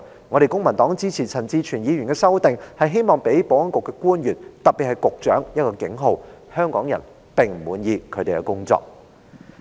我們公民黨支持陳志全議員的修正案，是希望予保安局的官員——特別是局長——一個警號：香港人並不滿意他們的工作表現。